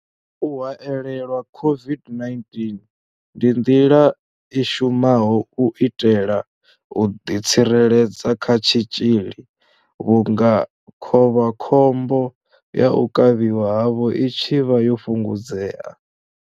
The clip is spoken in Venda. U haelelwa COVID-19 ndi nḓila i shumaho u itela u ḓi tsireledza kha tshitzhili vhunga khovhakhombo ya u kavhiwa havho i tshi vha yo fhungudzea.